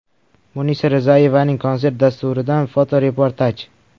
Munisa Rizayevaning konsert dasturidan fotoreportaj.